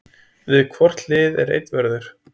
Við hvort hlið er einn vörður.